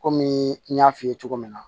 Kɔmi n y'a f'i ye cogo min na